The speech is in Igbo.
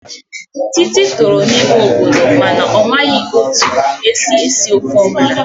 Titi tọrọ n'ime obodo mana ọ maghị etu esi esi ofe ọbụla